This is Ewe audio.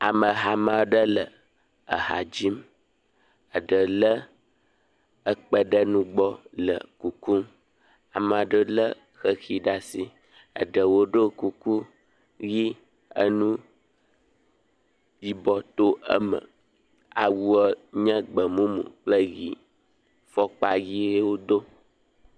Ame hame aɖe le ha dzim. Eɖe lé kpẽ ɖe nu gbɔ le kukum. Ame aɖe lé xexi ɖe asi, eɖewo ɖo kuku ʋi enu yibɔ to eme. Awua nye gbemumu kple ʋi. Fɔkpa ʋie wodo.